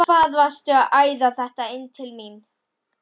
HVAÐ VARSTU AÐ ÆÐA ÞETTA INN TIL MÍN!